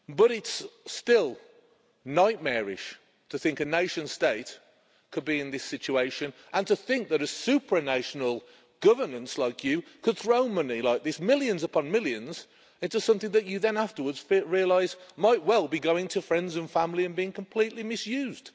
It's nightmarish to think a nation state could be in this situation, and to think that a supranational governance like you could throw money like this millions upon millions into something that you then afterwards realise might well be going to friends and family and being completely misused.